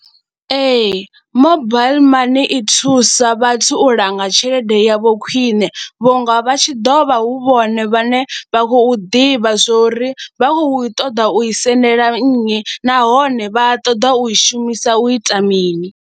Ee, mobile money i thusa vhathu u langa tshelede yavho khwine vhunga vha tshi ḓo vha hu vhone vhane vha khou ḓivha zwo ri vha khou ṱoḓa u i sendela nnyi nahone vha ṱoḓa u i shumisa u ita mini.